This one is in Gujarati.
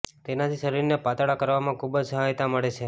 તેનાથી શરીરને પાતળ કરવામાં ખૂબ જ સહાયતા મળે છે